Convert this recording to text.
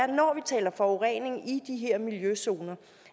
når vi taler forurening i de her miljøzoner